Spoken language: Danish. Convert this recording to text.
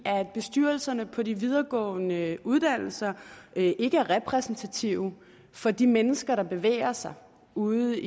bestyrelserne på de videregående uddannelser ikke er repræsentative for de mennesker der bevæger sig ude